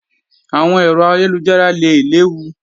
Àwọn ẹ̀rọ ayélujára lè léwu